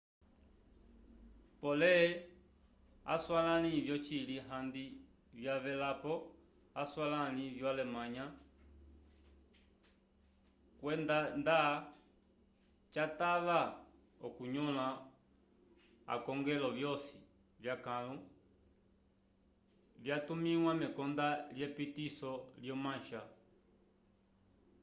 pole aswalãli vyocili handi vyavelelepo aswalãli vyo-alemanya kriegsmarine” kwenda nda catava okunyõla akongelo vyosi vyakãlu vyatumĩwa mekonda lyepitiso lyo mancha